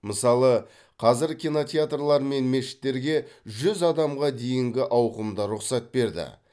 мысалы қазір кинотеатрлар мен мешіттерге жүз адамға дейінгі ауқымда рұқсат берді